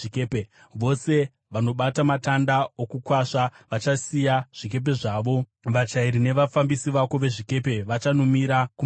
Vose vanobata matanda okukwasva vachasiya zvikepe zvavo; vachairi nevafambisi vako vezvikepe vachamira kumahombekombe.